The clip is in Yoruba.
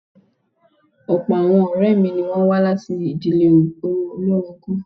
Ọ̀pọ̀ àwọn ọ̀rẹ́ mi ni wọ́n wá láti ìdíle olórogún.